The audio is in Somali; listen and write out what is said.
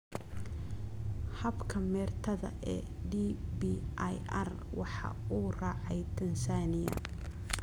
Habka meertada ee DBIR waxa uu raacay Tansaaniya.